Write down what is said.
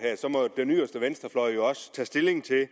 må den yderste venstrefløj jo også tage stilling til